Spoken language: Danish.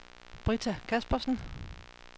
Britta Kaspersen